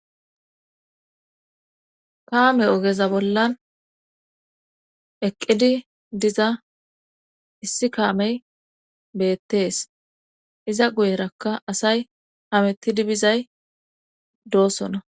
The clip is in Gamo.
kaame ogeza bollan eqqidi diza issi kaamey beettees iza guyerakka asay amettidi bizay doosona